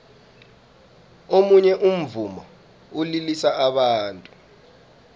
omunye umvumo ulilisa abantu